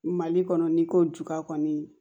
Mali kɔnɔ n'i ko juba kɔni